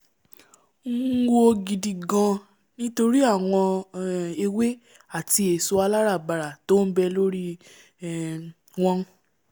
ún wò gidi-gaan nítorí àwọn um ewé àti èso aláràbarà t'ọ́n nbẹ lórí um wọn